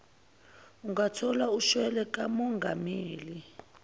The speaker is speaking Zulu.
ungathola ushwele kamongameli